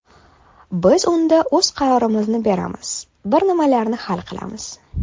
Biz unda o‘z qarorimizni beramiz, bir nimalarni hal qilamiz.